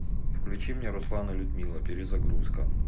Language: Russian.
включи мне руслан и людмила перезагрузка